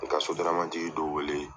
N ga sodaramati dɔ wele